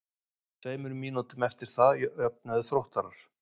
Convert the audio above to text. Tveimur mínútum eftir það jöfnuðu Þróttarar.